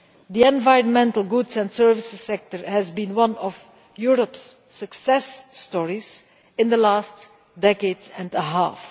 The environmental goods and services sector has been one of Europe's success stories in the last decade and a half.